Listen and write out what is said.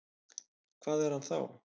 Hvað er hann þá?